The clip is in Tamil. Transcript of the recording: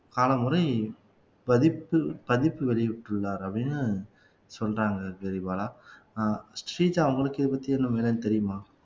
காலமுறை பதித்து பதித்து வெளியிட்டுள்ளார் அப்படின்னு சொல்றாங்க கிரிபாலா ஆஹ் ஸ்ரீஜா உங்களுக்கு இதைப்பத்தி என்னன்னு தெரியுமா